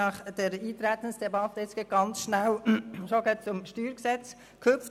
Nach dieser Eintretensdebatte sind wir sehr schnell schon zum StG gehüpft.